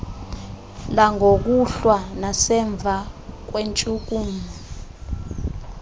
langokuhlwa nasemva kweentshukumo